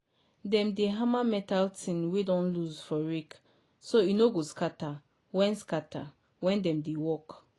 dem dey hammer metal tine wey don loose for rake so e no go scatter when scatter when dem dey work.